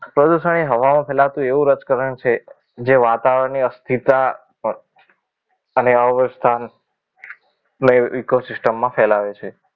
પ્રદૂષણ એ હવામાં ફેલાતો એવું રજકરણ છે જે વાતાવરણને અસ્થિરતા અને અવસ્થા ની eco system ફેલાવે છે